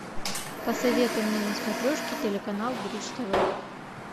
посоветуй мне на смотрешке телеканал бридж тв